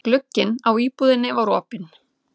Glugginn á íbúðinni var opinn.